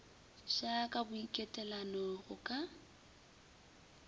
ja ka boitekanelo go ka